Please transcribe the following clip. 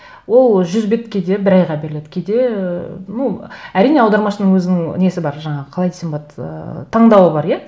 ол жүз бет кейде бір айға беріледі кейде ыыы ну әрине аудармашының өзінің несі бар жаңағы қалай десем болады ыыы таңдауы бар иә